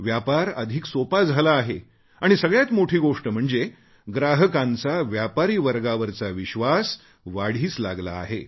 व्यापार अधिक सोपा झाला आहे आणि सगळ्यात मोठी गोष्ट म्हणजे ग्राहकांचा व्यापारीवर्गावरचा विश्वास वाढीस लागला आहे